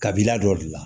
Kabila dɔ de la